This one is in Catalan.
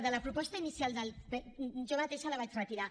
de la proposta inicial jo mateixa la vaig retirar